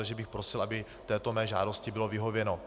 Takže bych prosil, aby této mé žádosti bylo vyhověno.